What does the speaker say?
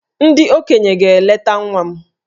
Ndị okenye ga-eleta nwa m